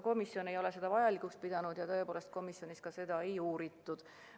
Komisjon ei ole seda vajalikuks pidanud ja tõepoolest komisjonis seda ei uuritud.